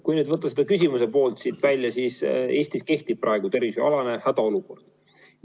Kui nüüd siit see küsimuse pool välja lugeda, siis Eestis kehtib praegu tervishoiualane hädaolukord.